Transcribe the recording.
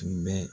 Tun bɛ